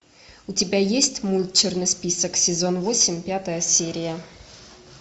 у тебя есть мульт черный список сезон восемь пятая серия